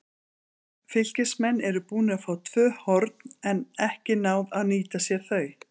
Fylkismenn eru búnir að fá tvö horn, en ekki náð að nýta sér þau.